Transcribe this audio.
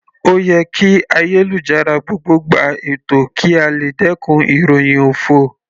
Ó yẹ kí ayélujára gbogbo gba ètò kí a lè dẹkùn ìròhìn òfo.